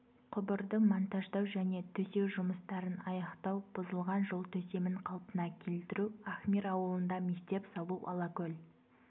құбырды монтаждау және төсеу жұмыстарын аяқтау бұзылған жол төсемін қалпына келтіру ахмир ауылында мектеп салу алакөл